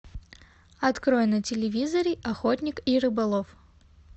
открой на телевизоре охотник и рыболов